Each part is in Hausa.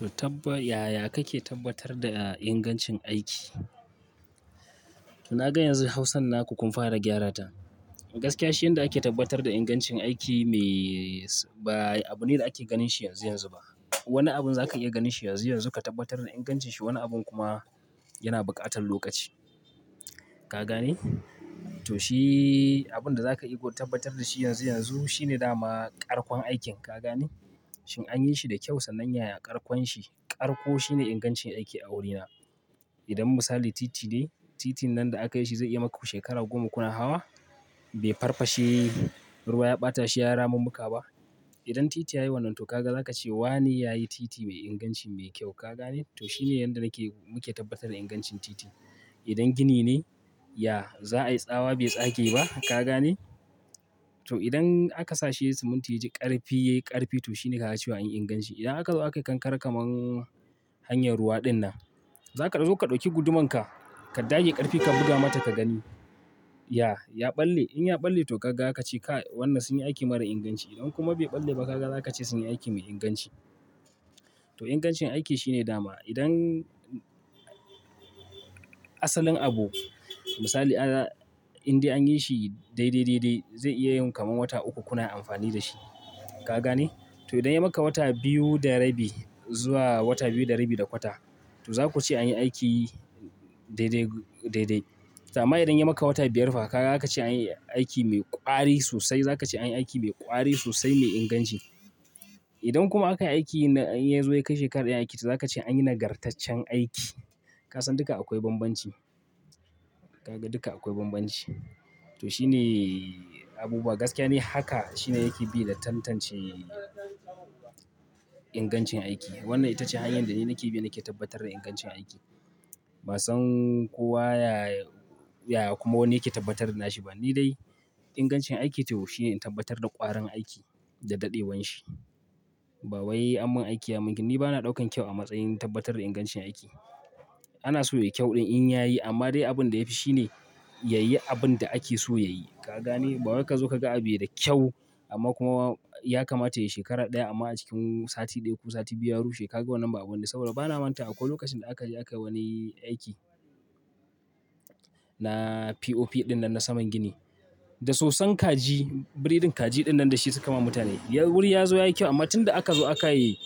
To, taɓa yaya kake tabbatar da ingancin aiki? To, na ga yanzu hausan naku kun fara gyara ta. Gaskiya shi yanda ake tabbatar da ingancin aiki mai ba abune da ake ganin shi yanzu yanzu ba. Wani abun zaka iya ganin shi yanzu yanzu ka tabbatar da ingancin shi, wani abun kuma yana buƙatar lokaci. Ka gane? To shi abun da zaka iya ka tabbatar da shi yanzu yanzu shine dama karfin aikin. Ka gane? Shin anyi shi da kyau sannan yaya karkon shi, karko shine ingancin aiki a wurina. Idan misali titi ne, titin nan da aka yi shi zai iya maku shekara goma kuna hawa, bai farfashe, ruwa ya ɓata shi, ya rama mu ka ba. Idan titi yayi wannan, to kaga zaka ce wane yayi titi mai inganci mai kyau. Ka gane? To shi ne yanda nake muke tabbatar da ingancin titi. Idan gini ne, ya, za a yi tsawa bai tsage ba. Ka gane? To idan aka sa shi siminti yayi ƙarfi yayi ƙarfi to shine ka cewa anyi inganci. Idan aka zo aka kankare kamar hanyar ruwa dinnan, zaka zo ka ɗauki guduman ka, ka dage ƙarfi ka buga mata ka gani. Ya, ya ɓalle. In ya ɓalle to kaga ka ce ka wannan sun yi aiki mara inganci. Idan kuma bai ɓalle ba kaga za ka ce sun yi aiki mai inganci. To ingancin aiki shine dama. Idan asalin abu, misali inda anyi shi dai dai dai dai zai iya yin kamar wata uku kuna amfani da shi. Ka gane? To idan ya maka wata biyu da rabi zuwa wata biyu da rabi da kwata to za ku ce anyi aiki dai dai dai dai. To anma idan ya maka wata biyar fa kaga za ka ce anyi aiki mai ƙwari sosai. Za ka ce anyi aiki mai ƙwari sosai mai inganci. Idan kuma aka yi aiki na yanzu ya kai shekara ɗaya aiki to za ka ce anyi nagartaccen aiki. Ka san duka akwai bambanci. Kaga duka akwai bambanci. To shine abubuwa. Gaskiya ne haka shine yake bi da tantance ingancin aiki. Wannan ita ce hanyar da ni nake bi nake tabbatar da ingancin aiki. Ba san kuwa ya, ya kuma wanne yake tabbatar da nashi ba. Ni dai ingancin aiki to shine tabbatar da ƙwarin aiki da daɗewar shi. Bawai anmin aiki ya min. Ni bana ɗaukan kyau a matsayin tabbatar da ingancin aiki. Ana so yayi kyau ɗin in yayi amma dai abin da yafi shine yayi abun da ake so yayi. Ka gane? Babar ka zo ka ga abiyoi da kyau amma kuma ya kamata yayi shekara ɗaya amma a cikin sati ɗaya ko sati biyu ya rushe ka ga wannan ba abune. Saboda bana manta akwai lokacin da aka je aka wani aiki na POP ɗinnan na saman gini. Da soson kaji, biriɗin kaji dinnan da shi suka ma mutane. Wuri ya zo yayi kyau amma tun da aka zo aka yi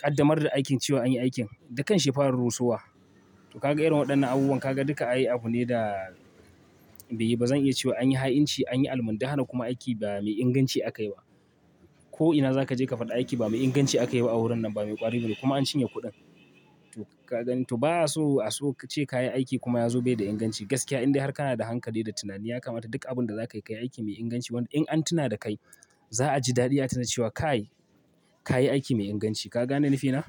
ƙaddamar da aikin cewa anyi aikin da kan shi ya fara rusowa. To kaga irin waɗannan abubuwan kaga duka ayi abu ne da bai ba zan iya cewa anyi ha'inci, anyi almundahana kuma aiki ba mai inganci aka yi ba. Ko ina za ka je ka faɗi aiki ba mai inganci aka yi ba a wurin nan ba mai ƙwari bane kuma an cinye kuɗin. To ka gani to ba a so a so ka ce kayi aiki kuma ya zo bai da inganci. Gaskiya inda har kana da hankali da tunani ya kamata duk abun da za ka yi kayi aiki mai inganci. Wanda in an tuna da kai za a ji daɗi ya tuna cewa ka yi, ka yi aiki mai inganci. Ka gane nafi na?